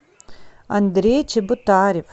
андрей чеботарев